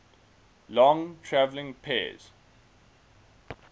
long traveling pairs